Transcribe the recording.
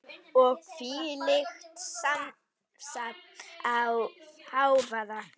Og þvílíkt samsafn af hávaða.